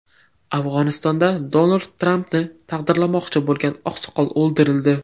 Afg‘onistonda Donald Trampni taqdirlamoqchi bo‘lgan oqsoqol o‘ldirildi.